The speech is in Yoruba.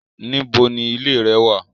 Níbò ní ìlẹ̀ rẹ̀ wà?